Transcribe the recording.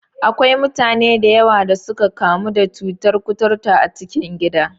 Akwai mutane da yawa da suka kamu da cutar kuturta a cikin gida.